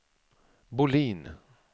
Bolin